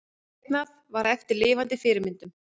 Teiknað var eftir lifandi fyrirmyndum.